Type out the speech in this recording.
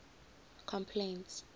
complaints